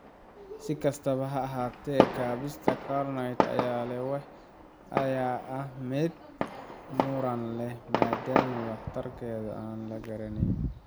Si kastaba ha ahaatee, kaabista carnitine ayaa weli ah mid muran leh, maaddaama waxtarkeeda aan la garanayn.